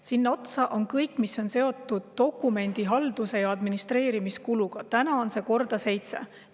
Sinna otsa kõik see, mis on seotud dokumendihalduse ja administreerimise kuluga, mida täna on korda seitse.